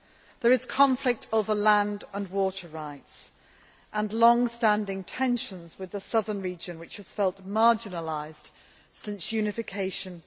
There is conflict over land and water rights and longstanding tensions with the southern region, which has felt marginalised since unification in